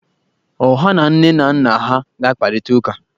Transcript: Ọ ha na nne na nna ha ga kparIta uka?